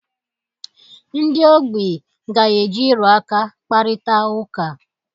Ndị ogbi ga-eji ịrụ aka kparịta ụka.